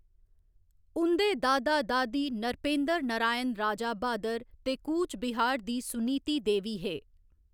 उं'दे दादा दादी नरपेंद्र नारायण राजा ब्हादर ते कूचबिहार दी सुनीति देवी हे।